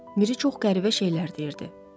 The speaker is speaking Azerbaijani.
Miri çox qəribə şeylər deyirdi.